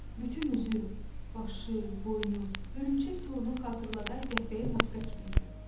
Bütün üzü, başı, boynu hörümçək torunu xatırladan qəhvəyi maska kimi idi.